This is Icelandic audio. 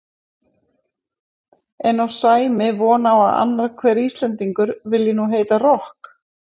En á Sæmi von á að annar hver Íslendingur vilji nú heita rokk?